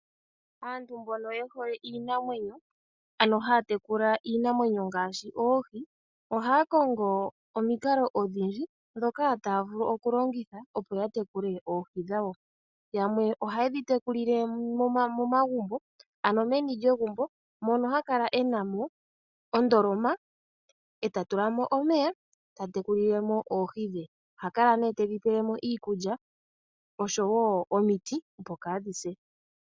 Aantu mbono ye hole iinamwenyo, ano haa tekula iinamwenyo ngaashi oohi, ohaya kongo omikalo odhindji ndhoka taya vulu okulongitha opo ya tekule oohi dhawo. Yamwe oha ye dhi tekulile momagumbo, ano meni lyegumbo mono haya kala e na mo ondolomq e ta tula mo omeya e ta tekulile mo oohi dhe. Oha kala mee tedhi pele mo iikulya osho wo omiti opo kaa dhi se.